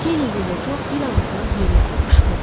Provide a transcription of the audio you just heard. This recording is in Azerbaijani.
Keneddi ilə Co bir ağızdan heyrətlə qışqırdı.